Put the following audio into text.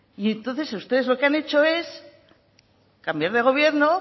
y entonces ustedes lo que han hecho es cambiar de gobierno